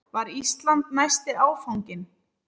Var Ísland næsti áfanginn?